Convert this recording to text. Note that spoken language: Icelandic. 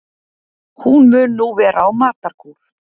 Hún mun nú vera á matarkúr